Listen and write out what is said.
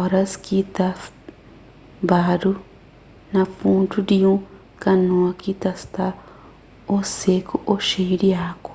óras ki ta badu na fundu di un kanoa ki ta sta ô seku ô xeiu di agu